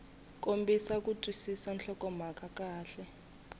kombisa ku twisisa nhlokomhaka kahle